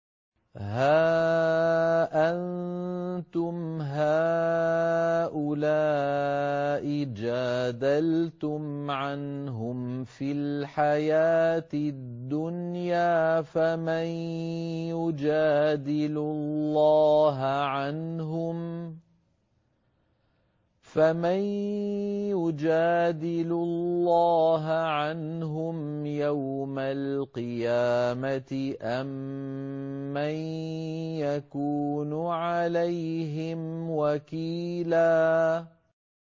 هَا أَنتُمْ هَٰؤُلَاءِ جَادَلْتُمْ عَنْهُمْ فِي الْحَيَاةِ الدُّنْيَا فَمَن يُجَادِلُ اللَّهَ عَنْهُمْ يَوْمَ الْقِيَامَةِ أَم مَّن يَكُونُ عَلَيْهِمْ وَكِيلًا